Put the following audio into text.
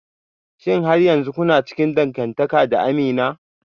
Shin har yanzu kuna cikin dangantaka da Amina?